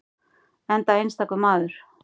Enda einstakur maður.